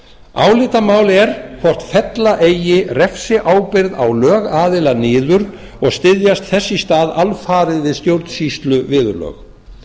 álitamál er hvort fella eigi refsiábyrgð á lögaðila niður og styðjast þess í stað alfarið við stjórnsýsluviðurlög